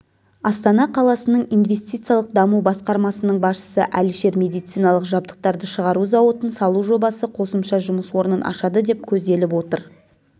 астана қаласының инвестициялық даму басқармасының басшысы әлішер медициналық жабдықтарды шығару зауытын салу жобасы қосымша жұмыс орнын ашады деп көзделіп отыр